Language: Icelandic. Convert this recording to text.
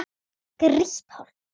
Grýtt holt.